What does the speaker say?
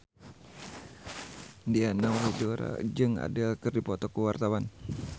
Diana Widoera jeung Adele keur dipoto ku wartawan